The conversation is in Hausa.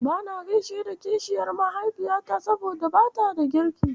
Bana gaishe da kishiyar mahaifiyata, saboda bata da kirki.